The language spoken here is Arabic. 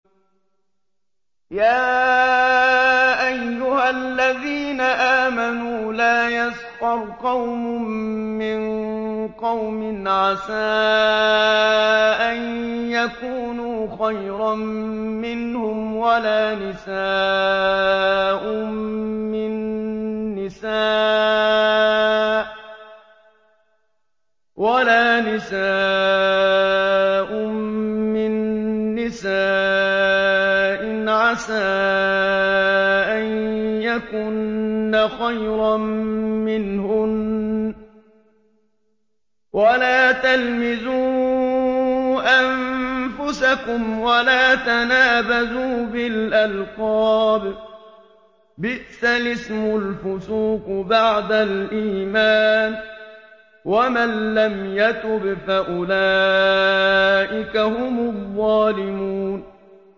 يَا أَيُّهَا الَّذِينَ آمَنُوا لَا يَسْخَرْ قَوْمٌ مِّن قَوْمٍ عَسَىٰ أَن يَكُونُوا خَيْرًا مِّنْهُمْ وَلَا نِسَاءٌ مِّن نِّسَاءٍ عَسَىٰ أَن يَكُنَّ خَيْرًا مِّنْهُنَّ ۖ وَلَا تَلْمِزُوا أَنفُسَكُمْ وَلَا تَنَابَزُوا بِالْأَلْقَابِ ۖ بِئْسَ الِاسْمُ الْفُسُوقُ بَعْدَ الْإِيمَانِ ۚ وَمَن لَّمْ يَتُبْ فَأُولَٰئِكَ هُمُ الظَّالِمُونَ